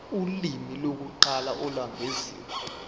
ulimi lokuqala olwengeziwe